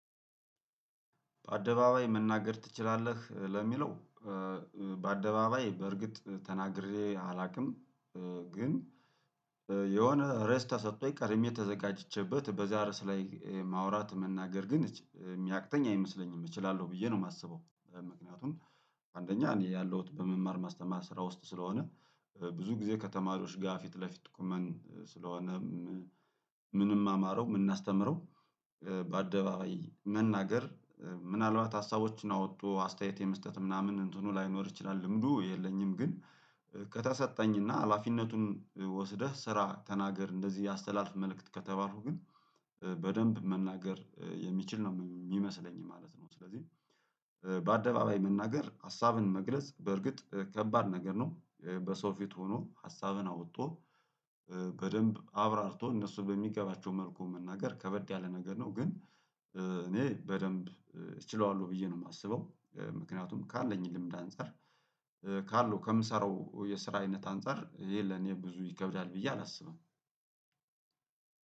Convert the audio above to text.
በአደባባይ መናገር ትችላለህ ለሚለው? በአደባባይ በእርግጥ ተናግሬ አላውቅም። ግን የሆነ ርዕስ ተሰጥቶኝ ቀድሜ ተዘጋጅቼበት በዛ ርዕስ ላይ ማውራት መናገር ግን እች የሚያቅተኝ አይመስለኝም እችላለሁ ብዬ ነው። የማስበው ምክንያቱም አንደኛ እኔ ያለሁት በመማር ማስተማር ስራ ውስጥ ስለሆነ። ብዙ ጊዜ ከተማሪዎች ጋር ፊት ለፊት ቆመን ስለሆነም ምንማ ማረው የምናስተምረው በአደባባይ መናገር። ምናልባት ሀሳቦችን አወጥቶ አስተያየት የመስጠት ምናምን እንትኑ ላይኖር ይችላል ልምዱ የለኝም። ግን ከተሰጠኝና ሀላፊነቱን ወስደህ ስራ ተናገር እንደዚህ አስተላልፍ መልእክት ከተባልኩ ግን በደንብ መናገር የምችል ነው የሚመስለኝ ማለት ነው። ስለዚህ በአደባባይ መናገር ሀሳብን መግለጽ በእርግጥ ከባድ ነገር ነው። በሰው ፊት ሆኖ ሀሳብን አውጥቶ በደንብ አብራርቶ እነሱን በሚገባቸው መልኩ መናገር ከበድ ያለ ነገር ነው። ግን እኔ በደንብ እችለዋለሁ ብዬ ነው የማስበው ምክንያቱም ካለኝ ልምድ አንፃር ካለው ከምሰራው የስራ አይነት አንፃር ይሄ ለኔ ብዙ ይከብዳል ብዬ አላስብም።